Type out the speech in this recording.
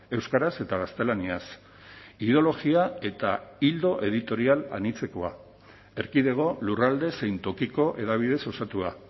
euskaraz eta gaztelaniaz ideologia eta ildo editorial anitzekoa erkidego lurralde zein tokiko hedabideez osatua